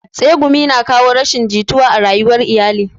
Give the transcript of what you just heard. Tsegumi na kawo rashin jituwa a rayuwan iyali